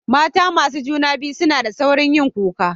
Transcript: Mata masu juna biyu suna da sauri yin kuka.